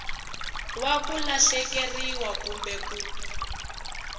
wa ku lahlekeriwa kumbe ku